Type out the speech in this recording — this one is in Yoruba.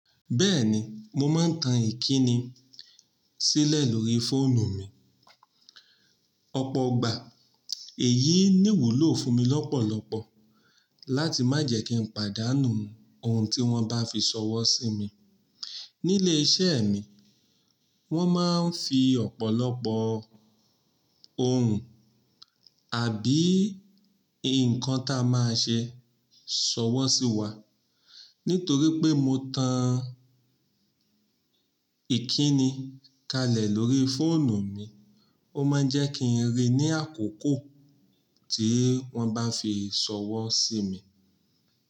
Bẹ́ẹ̀ni, mo máa ń tan ìkíni sílẹ̀ lórí fóònù mi. Ọ̀pọ̀ igbà èyí ní wúlò fún mi lọ́pọ̀lọpọ̀ láti má jẹ́ kí n pàdánù ohun tí wọ́n bá fi sọwọ́ sí mi. Nílé iṣẹ́ mi, wọ́n máa ń fi ọ̀pọ̀lọpọ̀ ohun àbí nǹkan tá a máa ṣe sọwọ́ sí wa. Nítorí pé mo tan ìkíni kalẹ̀ lórí fóònù mi, ó máa ń jẹ́ kí n rí i ní àkókò tí wọ́n bá fi sọwọ́ sí mi.